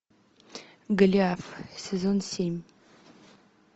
голиаф сезон семь